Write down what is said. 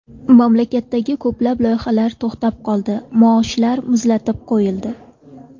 Mamlakatdagi ko‘plab loyihalar to‘xtab qoldi, maoshlar muzlatib qo‘yildi.